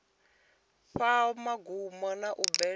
fhaa vhungomu na u bveledza